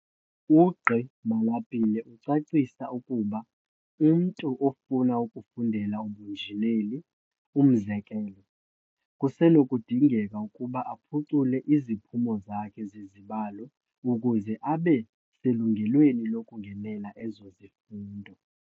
UGqi Malapile ucacisa ukuba umntu ofuna ukufundela ubunjineli, umzekelo, kusenokudingeka ukuba aphucule iziphumo zakhe zezibalo ukuze abe selungelweni lokungenela ezo zifundo.